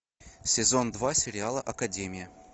сезон два сериала академия